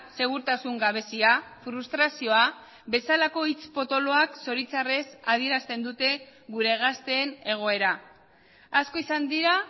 segurtasun gabezia frustrazioa bezalako hitz potoloak zoritzarrez adierazten dute gure gazteen egoera asko izan dira